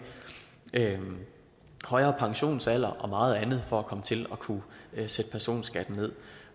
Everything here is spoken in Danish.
højere pensionsalder og meget andet for at komme til at kunne sætte personskatten ned